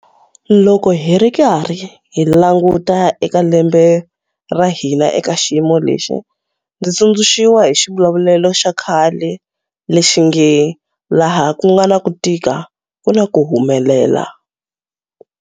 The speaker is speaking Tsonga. Loko hi ri karhi hi languta eka lembe ra hina eka xiyimo lexi, ndzi tsundzuxiwa hi xivulavulelo xa khale lexi nge 'laha ku nga na ku tika ku na ku humelela'.